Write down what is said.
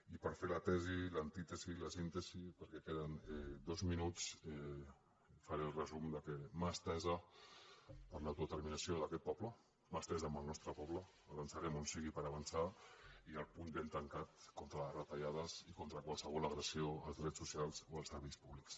i per fer la tesi l’antítesi i la síntesi perquè queden dos minuts faré el resum de mà estesa per a l’autodeterminació d’aquest poble mà estesa amb el nostre poble avançarem on sigui per avançar i el puny ben tancat contra les retallades i contra qualsevol agressió als drets socials o als serveis públics